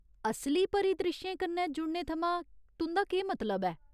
असली परिद्रिश्शें कन्नै जुड़ने थमां तुं'दा केह् मतलब ऐ ?